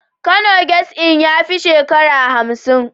Kano guest Inn ya fi shekarar hamsin.